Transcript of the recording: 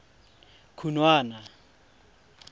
khunwana